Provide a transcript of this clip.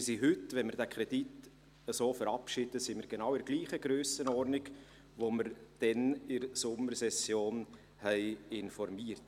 Wir sind heute – wenn wir diesen Kredit so verabschieden – genau in der gleichen Grössenordnung, wie wir damals in der Sommersession informierten.